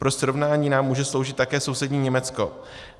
Pro srovnání nám může sloužit také sousední Německo.